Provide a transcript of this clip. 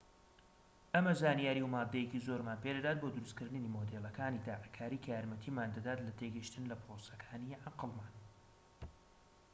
ئەمە زانیاری و ماددەیەکی زۆرمان پێدەدات بۆ دروست کردنی مۆدێڵەکانی تاقیکاری کە یارمەتیمان دەدات لە تێگەیشتن لە پرۆسەکانی عەقڵمان